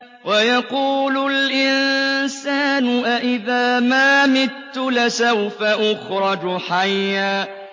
وَيَقُولُ الْإِنسَانُ أَإِذَا مَا مِتُّ لَسَوْفَ أُخْرَجُ حَيًّا